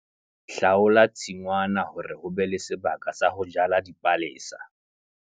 Hlaola tshingwana hore ho be le sebaka sa ho jala dipalesa.